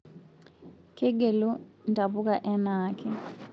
Kegelu ntapuka anaake